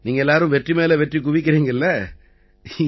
நீங்க எல்லாரும் வெற்றி மேல வெற்றி குவிக்கறீங்க இல்லை